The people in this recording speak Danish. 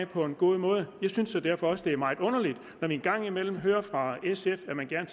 på en god måde jeg synes jo derfor også det er meget underligt når vi engang imellem hører fra sf at man gerne